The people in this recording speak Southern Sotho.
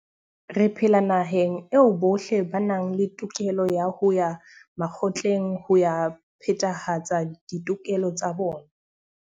Re phela naheng eo bohle ba nang le tokelo ya ho ya makgotleng ho ya phethahatsa ditokelo tsa bona.